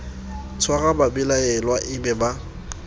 tshware babelaelwa e be ba